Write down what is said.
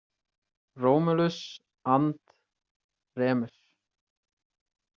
Romulus and Remus.